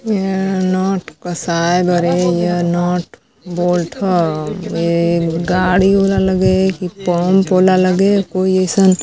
य नोट पस आए बड़े या नोट बोल्ड ह ये गाड़ी वाला लगे की पंप वाला लगे कोई एसन --